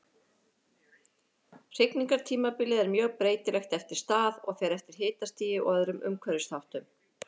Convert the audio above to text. Hrygningartímabilið er mjög breytilegt eftir stað og fer eftir hitastigi og öðrum umhverfisþáttum.